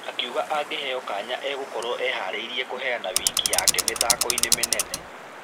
Akĩuga angĩheo kanya agũkorwo ĩharĩirie kũheana wĩki wake mĩthako-inĩ mĩnene.